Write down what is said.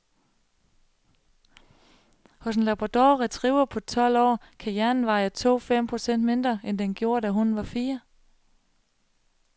Hos en labrador retriever på tolv år kan hjernen veje to fem procent mindre, end den gjorde, da hunden var fire.